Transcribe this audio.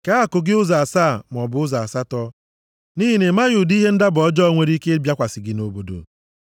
Kee akụ gị ụzọ asaa maọbụ ụzọ asatọ nʼihi na ị maghị ụdị ihe ndaba ọjọọ nwere ike ịbịakwasị gị nʼobodo.